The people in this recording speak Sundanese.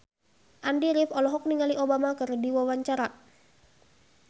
Andy rif olohok ningali Obama keur diwawancara